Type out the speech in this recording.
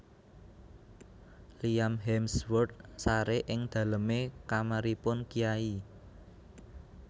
Liam Hemsworth sare ing daleme kamaripun kyai